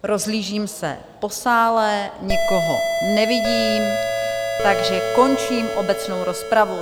Rozhlížím se po sále, nikoho nevidím, takže končím obecnou rozpravu.